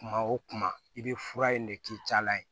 Kuma o kuma i bɛ fura in de k'i jala ye